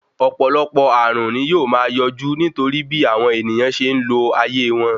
Ọ̀pọ̀lọpọ̀ ààrùn ní yóò máa yọjú nítorí bí àwọn ènìyàn ṣe ń lo ayé wọn.